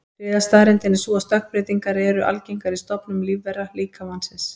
Þriðja staðreyndin er sú að stökkbreytingar eru algengar í stofnum lífvera, líka mannsins.